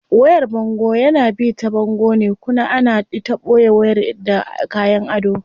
Wayar bango yana bi ta bango ne kuna ana ita boye wayar da kayan ado.